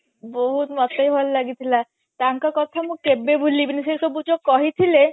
ବହୁତ ମତେ ବି ଭଲ ଲାଗିଥିଲା ତାଙ୍କ କଥା ମୁଁ କେବେବି ଭୁଲି ବିନି ସେ ସବୁ ଯୋଉ କହିଥିଲେ